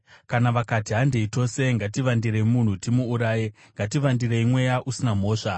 Kana vakati, “Handei tose; ngativandirei munhu timuuraye; ngativandirei mweya usina mhosva;